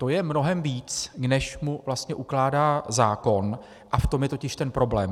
To je mnohem víc, než mu vlastně ukládá zákon, a v tom je totiž ten problém.